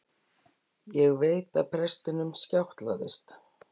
Ég veit að prestinum skjátlast.